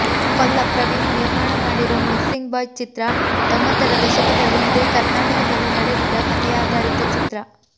ಕೊಲ್ಲ ಪ್ರವೀಣ್ ನಿರ್ಮಾಣ ಮಾಡಿರೋ ಮಿಸ್ಸಿಂಗ್ ಬಾಯ್ ಚಿತ್ರ ತೊಂಬತ್ತರ ದಶಕದಲ್ಲಿ ಇದೇ ಕರ್ನಾಟಕದಲ್ಲಿ ನಡೆದಿದ್ದ ಕಥೆಯಾಧಾರಿತ ಚಿತ್ರ